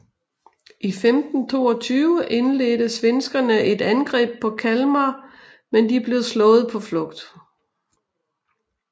I 1522 indledte svenskerne et angreb på Kalmar men de blev slået på flugt